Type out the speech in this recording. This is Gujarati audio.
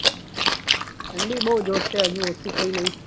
ઠંડી પડે છે.